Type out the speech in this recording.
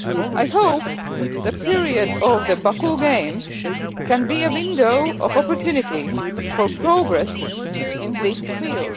I hope the period of the Baku games can be a window of opportunities for progress in this field.